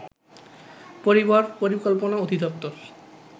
পরিবার পরিকল্পনা অধিদপ্তর